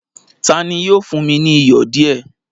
Tani yóò fún mi ni iyọ̀ díẹ̀?